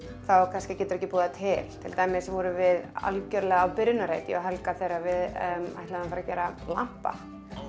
kannski geturðu ekki búið það til til dæmis vorum við algjörlega á byrjunarreit ég og Helga þegar við ætluðum að fara gera lampa